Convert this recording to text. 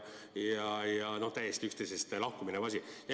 Täiesti üksteisest lahku minevad sammud!